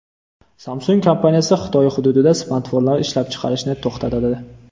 Samsung kompaniyasi Xitoy hududida smartfonlar ishlab chiqarishni to‘xtatadi.